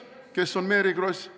Kes on Mary Kross?